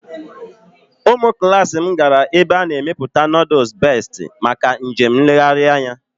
Ụmụ klas m gara ebe a na-emepụta nooduls Bestị maka njem nlegharị anya